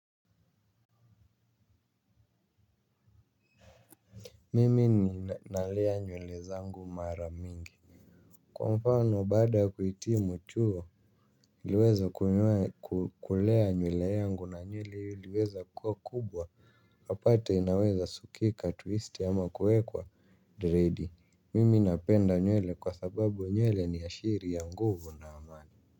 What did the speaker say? Mimi nalea nywele zangu mara mingi. Kwa mfano, baada kuitimu chuo niliweza kulea nywele yangu na nywele hio iliweza kuwa kubwa. Upate inaweza sukika twisti ama kuwekwa dredi, mimi napenda nywele kwa sababu nywele ni ashiri ya nguvu na amani.